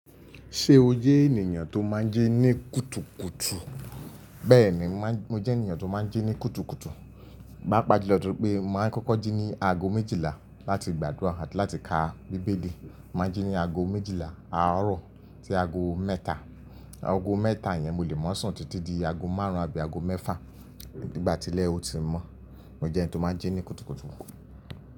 Ṣé o jẹ́ ènìyàn tó máa ń jí ní kùtùkùtù? Bẹ́ẹ̀ni, mo jẹ́ ènìyàn tó máa ń jí ní kùtùkùtù. Paapaa julọ lọ torí pé màá ń kọ́kọ́ jí ní aago méjìlá láti gbàdúrà àti láti ka Bíbélì. Màá ń jí ní aago méjìlá, àárọ̀ tí aago mẹ́ta. Aago mẹ́ta yẹn mo lè máa sùn títí di aago márùn-ún abí aago mẹ́fà. Nígbà tí ilẹ o ti mọ́. Mo jẹ́ ẹni tó máa ń jí ní kùtùkùtù.